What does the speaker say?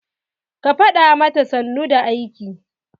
Ka fada mata sannu da aiki!